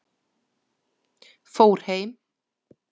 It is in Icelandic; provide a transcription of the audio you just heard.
Fór heim?